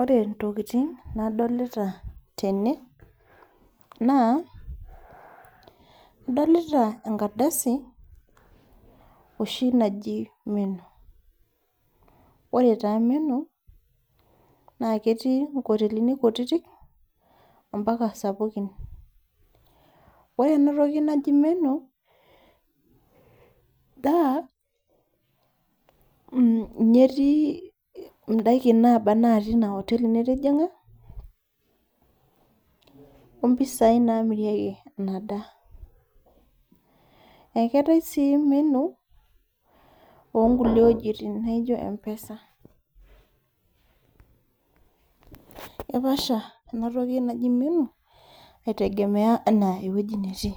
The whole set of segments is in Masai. Ore intokitin nadolita tene naa adolita enkardasi, ohi naji menu, ore taa emenu, naa ketii inkotelini kutitik ompaka isapukin. Ore ena toki naji emenu, naa ninye etii indaiki pooki ina koteli nitijing'a, o impisai naamirieki ina daa. Ekeatai sii menu oonkulie wuejitin naijo empesa, epaasha ena toki naji menu aitegemea ana ewueji natii,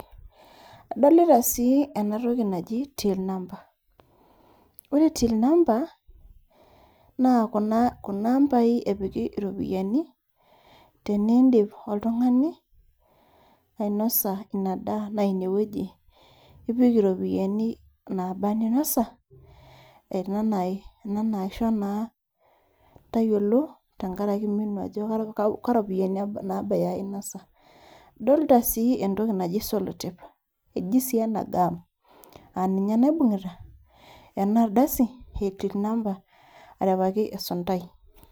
adolita sii ena toki naji till number. Ore till number, naa kuna ambai epiki iropiani tenindip oltung'ani ainosa ina daa na ine wueji ipik iropiani nabaa anaa ininosa, ena naisho naa tayiolo enkaraki menu iropiani aja inosa. Adlita sii entoki naji selotape, eji sii ena gam, naa ninye naiibung'ita ena amba aripaki esuntai.